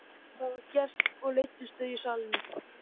Það var gert og leiddust þau í salinn.